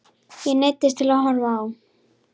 Ég neyddist til að horfa á.